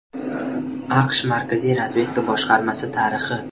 AQSh Markaziy razvedka boshqarmasi tarixi.